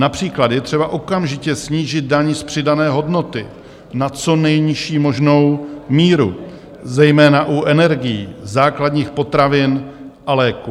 Například je třeba okamžitě snížit daň z přidané hodnoty na co nejnižší možnou míru, zejména u energií, základních potravin a léků.